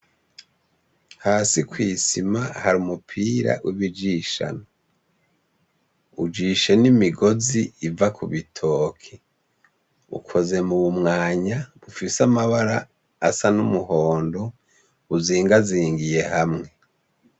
Hasi kw'isima har'umupira w'ibijishano; ujishe n'imigozi iva kubitoke; ukozwe mubimwanya bufise amabara asa n'umuhondo uzingazingiye hamwe.